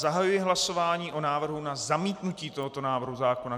Zahajuji hlasování o návrhu na zamítnutí tohoto návrhu zákona.